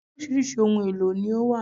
Orísirísi ohun èlò ni ó wà